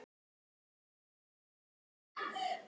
Hvað var hann eiginlega að bralla?